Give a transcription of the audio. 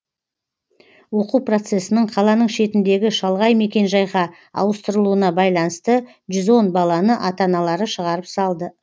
оқу процесінің қаланың шетіндегі шалғай мекенжайға ауыстырылуына байланысты жүз он баланы ата аналары шығарып салды